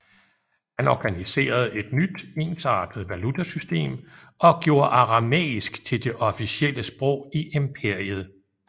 Han organiserede et nyt ensartet valutasystem og gjorde aramæisk til det officielle sprog i imperiet